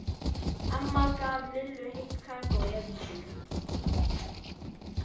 Amma gaf Lillu heitt kakó í eldhúsinu.